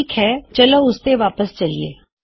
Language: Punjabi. ਠੀਕ ਹੈ ਚਲੋ ਉਸਤੇ ਵਾਪਸ ਚਲਿਏ